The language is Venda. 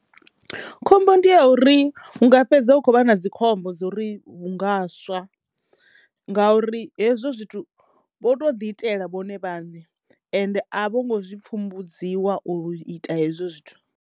Khombo ndi ya uri hu nga fhedza hu kho vha na dzikhombo dzo ri hu nga swa ngauri hezwo zwithu vho to ḓi itela vhone vhaṋe ende a vho ngo zwi pfhumbudziwa u ita hezwo zwithu.